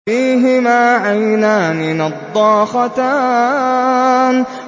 فِيهِمَا عَيْنَانِ نَضَّاخَتَانِ